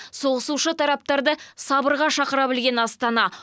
соғысушы тараптарды сабырға шақыра білген астана